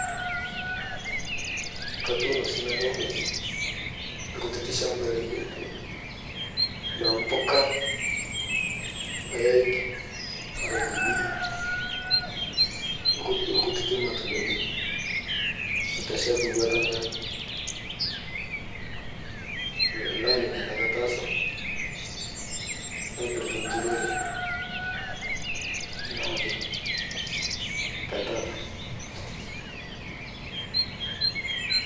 Katunoo siinanu lkutiti lshambai lainen lempuka, lpaeg, lmarakweni olkutiti lmatundani aiteshep wuata enkang naa nia taake atasa napirita nturore nake tetata.